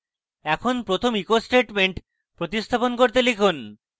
এখন প্রথম echo statement প্রতিস্থাপন করে লিখুন: